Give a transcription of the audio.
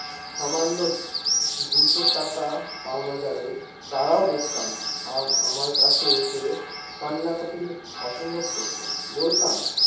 সামান্য দুশো টাকা পাওনা যাদের, তারাও দেখতাম আম আমরা কাছ থেকে এসে কান্না কাটি অসম্ভব করত বলতাম ।